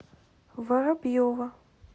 воробьева